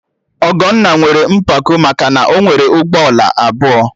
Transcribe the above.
Ọgọnna nwere mpako maka na ọ nwere ụgbọala abụọ